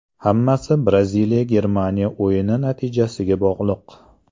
Hammasi Braziliya Germaniya o‘yini natijasiga bog‘liq.